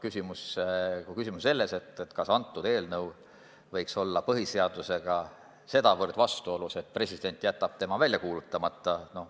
Küsimus on selles, kas see eelnõu võiks olla põhiseadusega sedavõrd suures vastuolus, et president jätab selle välja kuulutamata.